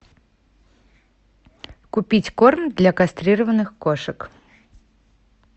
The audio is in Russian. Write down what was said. купить корм для кастрированных кошек